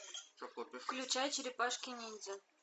включай черепашки ниндзя